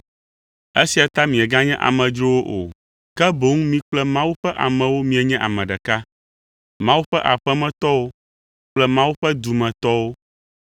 Esia ta mieganye amedzrowo o, ke boŋ mi kple Mawu ƒe amewo mienye ame ɖeka, Mawu ƒe aƒemetɔwo kple Mawu ƒe dumetɔwo,